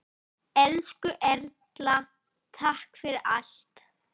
Elsku Erla, takk fyrir allt.